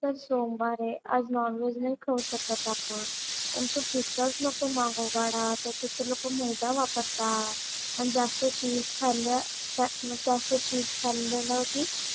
आज तर सोमवार आहे. आज नॉन-व्हेज नाही खाऊ शकत आपण. पण तू पिझ्झाच नको मागवू बाळा. त्याच्यात ते लोकं मैदा वापरतात आणि जास्त चीझ खाल्लं तर मग जास्त चीझ खाल्लं ना उगीच,